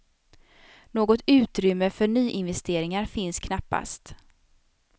Något utrymme för nyinvesteringar finns knappast.